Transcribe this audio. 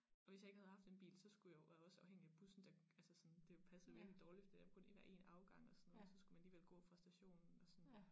Og hvis jeg ikke havde haft den bil så skulle jeg jo være også afhængig af bussen der altså sådan det passede virkelig dårligt fordi der kun er én afgang så skulle man alligevel gå fra stationen og sådan